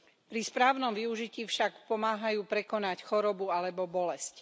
Pri správnom využití však pomáhajú prekonať chorobu alebo bolesť.